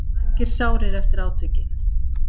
Margir sárir eftir átökin